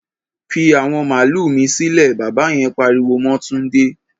Fi àwọn màlúà mi sílẹ̀! Bàbá yen pariwo mọ́ Túndé.